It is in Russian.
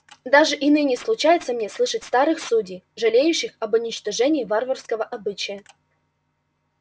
даже и ныне случается мне слышать старых судей жалеющих об уничтожении варварского обычая